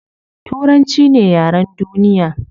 Turanchi ne yaren duniya